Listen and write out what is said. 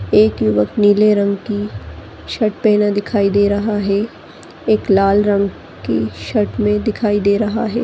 एक युवक नीले रंग की शर्ट पहने दिखाई दे रहा है एक लाल रंग की शर्ट में दिखाई दे रहा है।